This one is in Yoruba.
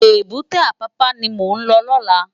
Ébùté Apapa ni mó n lò lòlá